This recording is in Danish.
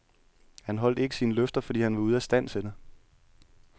Han holdt ikke sine løfter, fordi han var ude af stand til det.